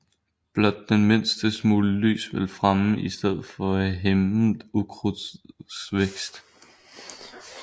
Blot den mindste smule lys vil fremme i stedet for hæmme ukrudtets vækst